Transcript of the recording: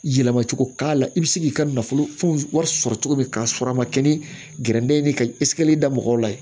Yɛlɛma cogo k'a la i bɛ se k'i ka nafolo wari sɔrɔ cogo min k'a sɔrɔ a ma kɛ ni gɛrɛndɛ ye ka da mɔgɔw la yen